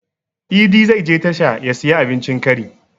Idi zai je tasha ya siyi abincin kari